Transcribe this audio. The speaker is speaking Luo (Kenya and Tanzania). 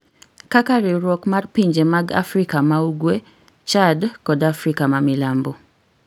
kaka Riwruok mar Pinje mag Afrika ma ugwe, Chad kod Afrika ma Milambo